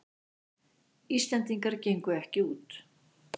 Íslendingar gengu ekki út